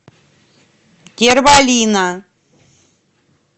терволина